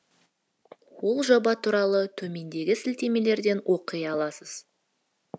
ол жоба туралы төмендегі сілтемелерден оқи аласыз